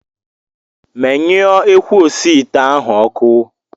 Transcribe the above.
Menyụọ ekwu osiite ahụ ọkụ!